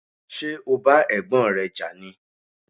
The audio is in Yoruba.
Ṣé o bá Ẹ̀gbọ́n rẹ jà ni?